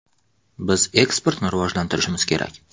Biz eksportni rivojlantirishimiz kerak.